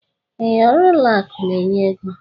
Ee, ọrụ ụlọ akụ n'enye ego.